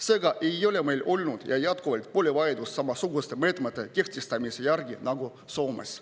Seega ei ole meil olnud ja jätkuvalt pole vajadust samasuguste meetmete kehtestamise järgi nagu Soomes.